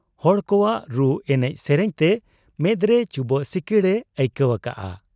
ᱦᱚᱲ ᱠᱚᱣᱟᱜ ᱨᱩ ᱮᱱᱮᱡ ᱥᱮᱨᱮᱧ ᱛᱮ ᱢᱮᱫᱨᱮ ᱪᱩᱵᱟᱹᱜ ᱥᱤᱠᱤᱲ ᱮ ᱟᱹᱭᱠᱟᱹᱣ ᱟᱠᱟᱜ ᱟ ᱾